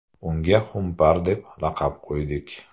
Unga xumpar deb laqab qo‘ydik.